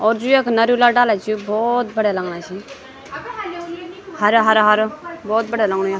और जू यख नर्युला डाला छि यू भौत बढ़िया लगणा छी हर्या हारा हारो भौत बड्या लगणु यो।